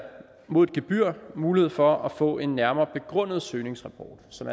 mod et gebyr mulighed for at få en nærmere begrundet søgningsrapport så